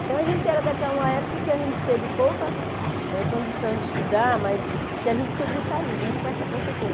Então, a gente era daquela época que a gente teve pouca eh condição de estudar, mas que a gente sobressaiu, mesmo com essa professora.